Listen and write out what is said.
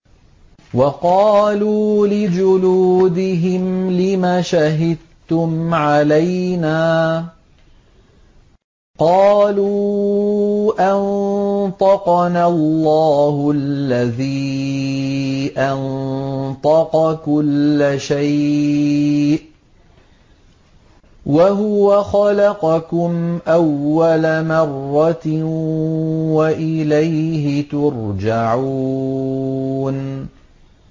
وَقَالُوا لِجُلُودِهِمْ لِمَ شَهِدتُّمْ عَلَيْنَا ۖ قَالُوا أَنطَقَنَا اللَّهُ الَّذِي أَنطَقَ كُلَّ شَيْءٍ وَهُوَ خَلَقَكُمْ أَوَّلَ مَرَّةٍ وَإِلَيْهِ تُرْجَعُونَ